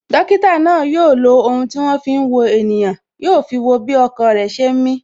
Dókítà náà yo lo ohun tí wọn fi ń wo ènìyàn, yo fi wo bí ọkàn rẹ ṣe ń mi